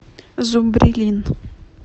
зубрилин